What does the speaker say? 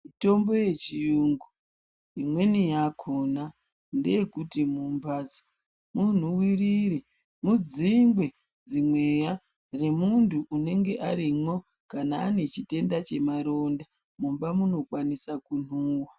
Mitombo yechiyungu imweni yakona ndeyekuti mumbadzi munhuwirire mudzingwe dzimweya dzemuntu unenge arimwo kana ane chitenda chemaronda mumba munokwanisa kunhuwa.